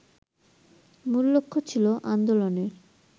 মূল লক্ষ্য ছিল আন্দোলনের